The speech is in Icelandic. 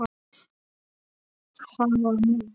Hvaða myndir?